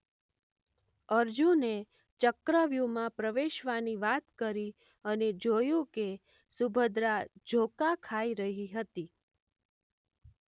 અર્જુને ચક્રવ્યુહમાં પ્રવેશવાની વાત કરી અને જોયું કે સુભદ્રા ઝોકાં ખાઈ રહી હતી.